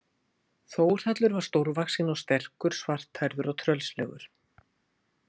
Þórhallur var stórvaxinn og sterkur, svarthærður og tröllslegur.